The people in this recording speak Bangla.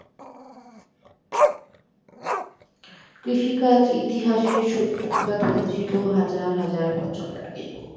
কৃষিকাজ ইতিহাসে সূত্রপাত হয়েছিল হাজার হাজার বছর আগে